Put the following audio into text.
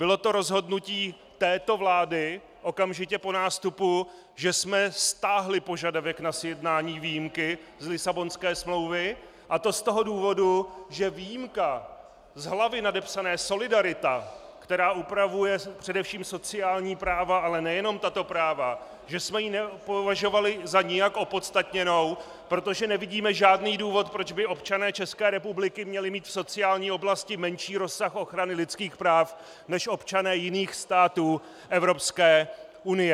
Bylo to rozhodnutí této vlády okamžitě po nástupu, že jsme stáhli požadavek na sjednání výjimky z Lisabonské smlouvy, a to z toho důvodu, že výjimku z hlavy nadepsané Solidarita, která upravuje především sociální práva, ale nejenom tato práva, že jsme ji nepovažovali za nijak opodstatněnou, protože nevidíme žádný důvod, proč by občané České republiky měli mít v sociální oblasti menší rozsah ochrany lidských práv než občané jiných států Evropské unie.